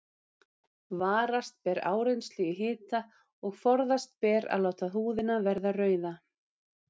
Varast ber áreynslu í hita og forðast ber að láta húðina verða rauða.